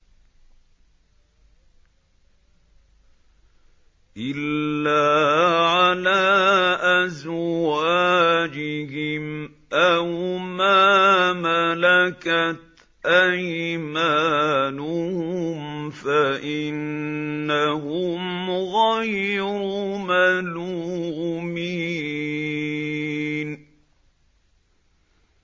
إِلَّا عَلَىٰ أَزْوَاجِهِمْ أَوْ مَا مَلَكَتْ أَيْمَانُهُمْ فَإِنَّهُمْ غَيْرُ مَلُومِينَ